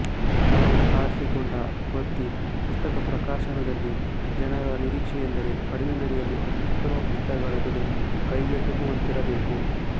ತಾವು ಆರಿಸಿಕೊಂಡ ವೃತ್ತಿ ಪುಸ್ತಕಪ್ರಕಾಶನದಲ್ಲಿ ಜನರ ನಿರೀಕ್ಷೆಯೆಂದರೆ ಕಡಿಮೆ ಬೆಲೆಯಲ್ಲಿ ಅತ್ಯುತ್ತಮ ಪುಸ್ತಕಗಳ ಬೆಲೆ ಕೈಗೆಟುಕುವಂತಿರಬೇಕು